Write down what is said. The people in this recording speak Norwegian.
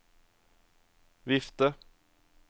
vifte